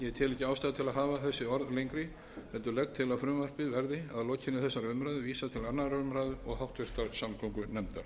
til að hafa þessi orð lengri heldur legg til að frumvarpið verði að lokinni þessari umræðu vísað til annarrar umræðu og háttvirtrar samgöngunefndar